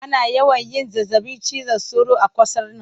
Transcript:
Ana yawan yin zazzabin cizon sauro a qasar nan